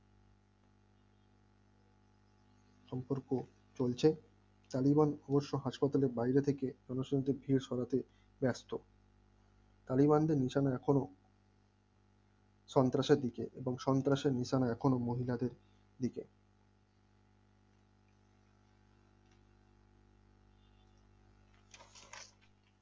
চলছে টালিগঞ্জ অবশ্য হাসপাতালে বাইরে থেকে মানুষজনদের ভিড় সরাতে ব্যস্ত টালিগঞ্জের এখনো সন্ত্রাসের দিকে এবংসন্ত্রাসী নিশানা এখনো মহিলাদের দিকে